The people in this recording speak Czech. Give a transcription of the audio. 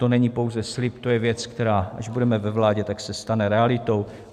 To není pouze slib, to je věc, která, až budeme ve vládě, se tak stane realitou.